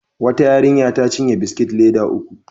Wata yarinya ta cinye biskit leda uku.